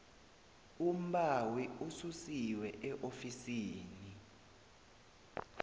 umbawi ususiwe eofisini